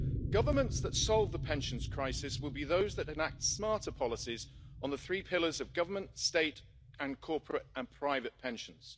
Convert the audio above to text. Governments that solve the pensions crisis will be those that enact smarter policies on the three pillars of government, state and corporate and private pensions.